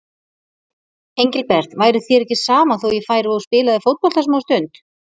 Engilbert, væri þér ekki sama þó ég færi og spilaði fótbolta smástund.